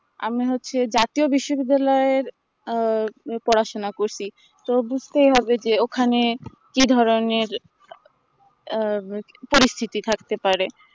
আর মনে হচ্ছে জাতীয় বিশ্ববিদ্যালয়র আহ পড়াশোনা করছি তো বুঝতেই হবে যে ওখানে কি ধরণের এ পরিস্থিতি থাকতে পারে